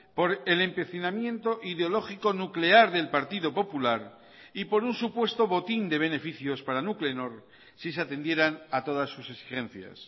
por el empecinamiento ideológico nuclear del partido popular y por un supuesto botín de beneficios para nuclenor si se atendieran a todas sus exigencias